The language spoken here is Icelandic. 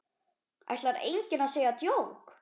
Ætlar enginn að segja djók?